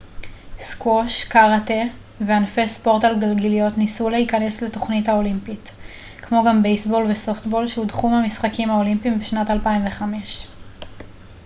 סקווש קרטה וענפי ספורט על גלגיליות ניסו להיכנס לתוכנית האולימפית כמו גם בייסבול וסופטבול שהודחו מהמשחקים האולימפיים בשנת 2005